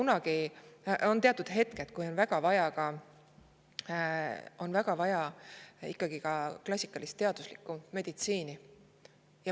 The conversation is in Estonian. Aga teatud juhtudel on ikka väga vaja ka klassikalist teaduslikku meditsiini.